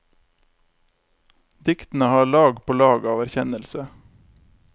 Diktene har lag på lag av erkjennelse.